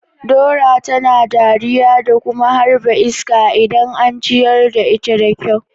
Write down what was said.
Dora tana dariya da kuma harba iska idan an ciyar da ita da kyau.